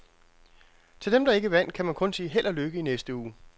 Til dem, der ikke vandt, kan man kun sige held og lykke i næste uge.